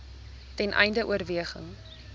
ten einde oorweging